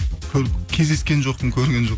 кездескен жоқпын көрген жоқ